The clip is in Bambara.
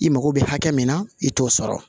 I mago bɛ hakɛ min na i t'o sɔrɔ